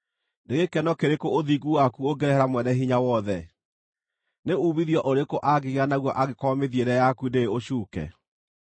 Nĩ gĩkeno kĩrĩkũ ũthingu waku ũngĩrehere Mwene-Hinya-Wothe? Nĩ uumithio ũrĩkũ angĩgĩa naguo angĩkorwo mĩthiĩre yaku ndĩrĩ ũcuuke?